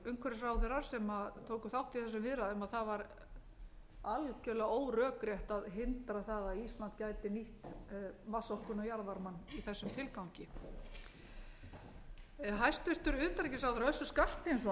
umhverfisráðherrar sem tóku þátt í þessum viðræðum að það var algjörlega órökrétt að hindra það að ísland gæti nýtt vatnsorkuna og jarðvarmann í þessum tilgangi hæstvirts utanríkisráðherra össur skarphéðinsson sem var þá í stjórnmálum eins